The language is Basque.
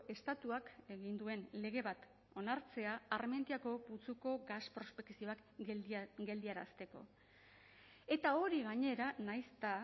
estatuak egin duen lege bat onartzea armentiako putzuko gas prospekzioak geldiarazteko eta hori gainera nahiz eta